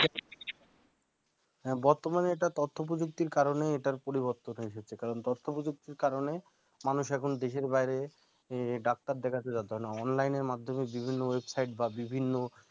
বর্তমানে যেটা তথ্য প্রযুক্তির কারণে এটার পরিবর্তন হয়েছে কারণ তথ্য প্রযুক্তির কারণে মানুষ এখন দেশের বাইরে doctor দেখাতে যাইতে হয়না online মাধ্যমে বিভিন্ন website বা বিভিন্ন